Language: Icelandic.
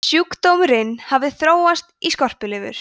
sjúkdómurinn hafði þróast í skorpulifur